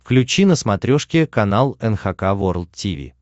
включи на смотрешке канал эн эйч кей волд ти ви